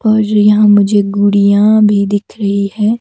और यहाँ मुझे गुड़ियाँ भी दिख रही है।